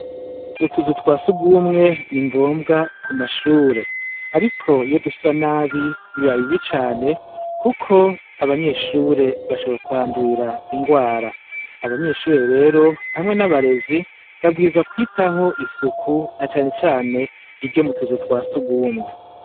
Utuzu twa surwumwe ni ngombwa ku mashure. Ariko iyo dusa nabi biba bibi cane kuko abanyeshure bashobora kuhandurira ingwara. Abanyeshure rero hamwe n'abarezi bawirizwa mwitaho isuku na cane cane iryo mu tuzu twa surwumwe.